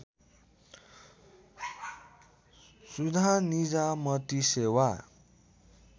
सुधार निजामती सेवा